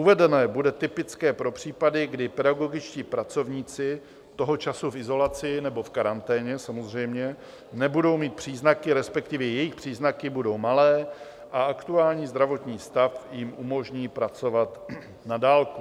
Uvedené bude typické pro případy, kde pedagogičtí pracovníci - toho času v izolaci nebo v karanténě, samozřejmě - nebudou mít příznaky, respektive jejich příznaky budou malé a aktuální zdravotní stav jim umožní pracovat na dálku.